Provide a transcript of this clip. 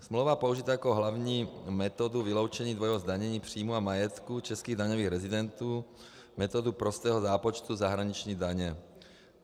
Smlouva používá jako hlavní metodu vyloučení dvojího zdanění příjmů a majetku českých daňových rezidentů metodu prostého zápočtu zahraniční daně.